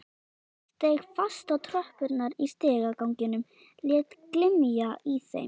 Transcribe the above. Steig fast á tröppurnar í stigaganginum, lét glymja í þeim.